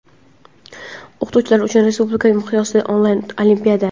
O‘qituvchilar uchun respublika miqyosida onlayn olimpiada.